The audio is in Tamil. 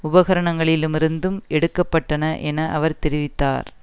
உபகரணங்களிலுமிருந்தும் எடுக்க பட்டன என அவர் தெரிவித்தார்